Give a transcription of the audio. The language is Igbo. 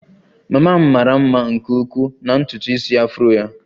Mama m mara mma nke ukwuu na ntutu isi afro ya